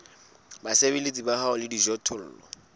basebeletsi ba hao le dijothollo